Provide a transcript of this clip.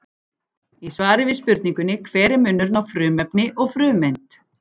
Í svari við spurningunni Hver er munurinn á frumefni og frumeind?